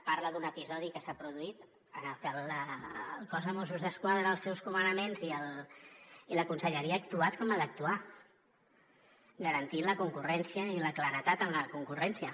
parla d’un episodi que s’ha produït en el que el cos de mossos d’esquadra els seus comandaments i la conselleria ha actuat com ha d’actuar garantint la concurrència i la claredat en la concurrència